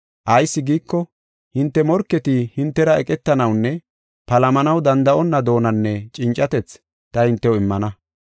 Ayis giiko, hinte morketi hintera eqetanawunne palamanaw danda7onna doonanne cincatethi ta hintew immana.